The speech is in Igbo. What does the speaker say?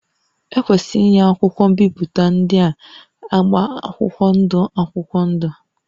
Ekwesịrị inye akwụkwọ mpịakọta ndị a agba akwụkwọ ndụ akwụkwọ ndụ